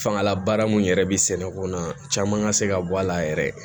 Fangalabaara mun yɛrɛ bɛ sɛnɛko na caman ka se ka bɔ a la yɛrɛ